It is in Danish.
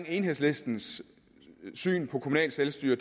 enhedslistens syn på kommunalt selvstyre